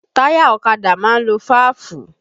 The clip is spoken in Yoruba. Táyà ọ̀kadà máa ń lo fáàfù